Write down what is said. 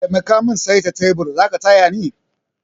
Taimaka min saita tebur, zaka tayani?